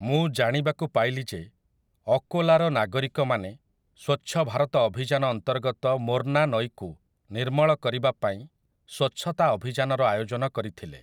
ମୁଁ ଜାଣିବାକୁ ପାଇଲି ଯେ, ଅକୋଲାର ନାଗରିକମାନେ ସ୍ୱଚ୍ଛ ଭାରତ ଅଭିଯାନ ଅନ୍ତର୍ଗତ ମୋର୍ନା ନଈକୁ ନିର୍ମଳ କରିବା ପାଇଁ ସ୍ୱଚ୍ଛତା ଅଭିଯାନର ଆୟୋଜନ କରିଥିଲେ ।